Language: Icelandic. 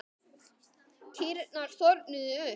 Kýrnar þornuðu upp.